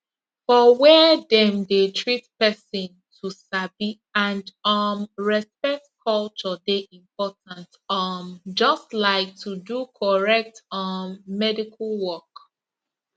for where dem dey treat person to sabi and um respect culture dey important um just like to do correct um medical work